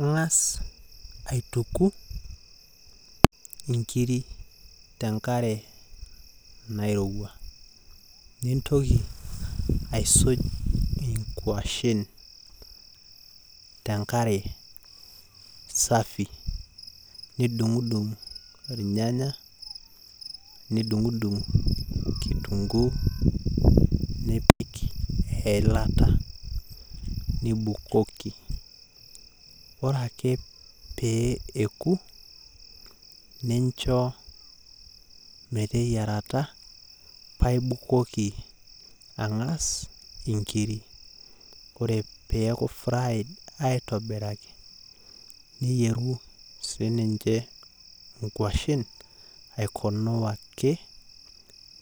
Ingas aituku inkiri tenkare nairowua, nintoki aituku inkwashen tenkare safi, nidundung irnyanya , nidungdung kituguu , nipik eilata , nibukoki . ore ake pee eku paa ibukoki angas inkiri ore peaku fry aitobiraki niyeru sininche inkwashen aikunung ake